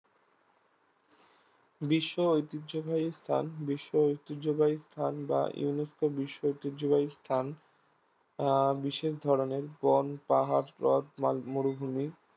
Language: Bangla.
বিশ্ব ঐতিহ্যবাহী স্থান বিশ্ব ঐতিহ্যবাহী স্থান বা UNESCO বিশ্ব ঐতিহ্যবাহী স্থান আহ বিশেষ ধরণের বন, পাহাড়, হ্রদ, মাল মরুভূমি